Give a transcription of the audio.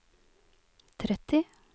tretti